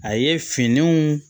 A ye finiw